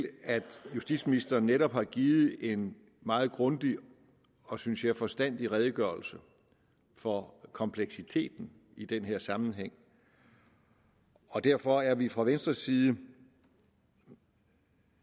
at justitsministeren netop har givet en meget grundig og synes jeg forstandig redegørelse for kompleksiteten i den her sammenhæng og derfor er vi fra venstres side